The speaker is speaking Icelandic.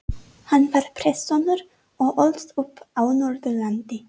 Hann var prestssonur og ólst upp á Norðurlandi.